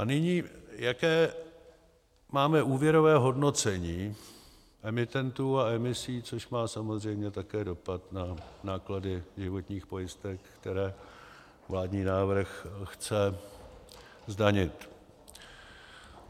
A nyní jaké máme úvěrové hodnocení emitentů a emisí, což má samozřejmě také dopad na náklady životních pojistek, které vládní návrh chce zdanit.